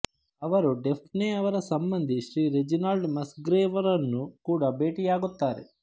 ಅವರು ಡಫ್ನೆ ಅವರ ಸಂಬಂಧಿ ಶ್ರೀ ರೆಜಿನಾಲ್ಡ್ ಮಸ್ಗ್ರೇವ್ರನ್ನು ಕೂಡಾ ಭೇಟಿಯಾಗುತ್ತಾರೆ